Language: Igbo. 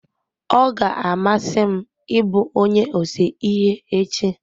Ọ ga-amasị m ị bụ onye ose ihe echi.